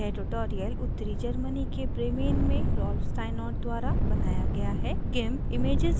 यह ट्यूटोरियल उत्तरी germany के bremen में rolf steinort द्वारा बनाया गया है